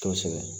Kosɛbɛ